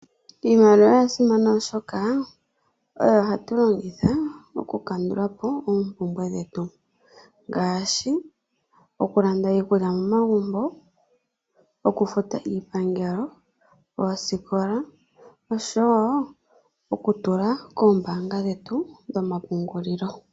Iimaliwa oya simana oshoka, oyo hatulongitha okuku kandulapo oompumbwe dhetu, ngaashi okulanda iikulya momagumbo, okufuta iipangelo, oosikola oshowo okutula koombanga dhetu dhomapungulilo.